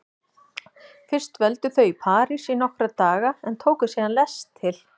Fyrst dvöldu þau í París í nokkra daga en tóku síðan lest til